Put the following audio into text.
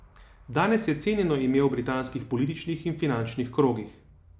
Danes je cenjeno ime v britanskih političnih in finančnih krogih.